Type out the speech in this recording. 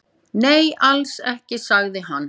Nei, alls ekki, sagði hann.